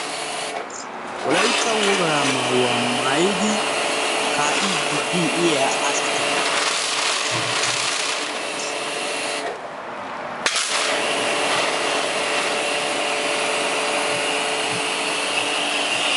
Wolayttan wogaa maayuwa maayidi ka'iidi diya asata.